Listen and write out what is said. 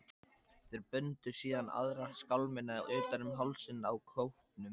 Þeir bundu síðan aðra skálmina utan um hálsinn á kópnum.